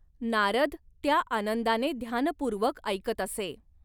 नारद त्या आनंदाने ध्यानपूर्वक ऐकत असे.